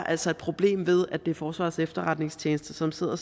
altså et problem ved at det er forsvarets efterretningstjeneste som sidder